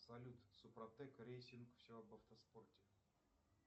салют супротек рейсинг все об автоспорте